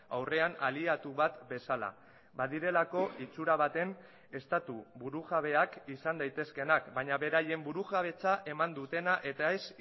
aurrean aliatu bat bezala badirelako itsura baten estatu burujabeak izan daitezkeenak baina beraien burujabetza eman dutena eta ez